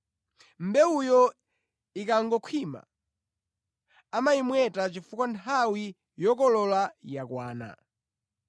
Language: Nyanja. Mbewuyo ikangokhwima, amayimweta chifukwa nthawi yokolola yakwana.”